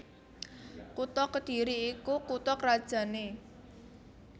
Kutha Kedhiri iku kutha krajanné